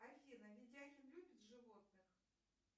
афина видяхин любит животных